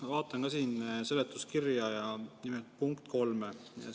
Ma vaatan ka siin seletuskirja ja nimelt punkti 3.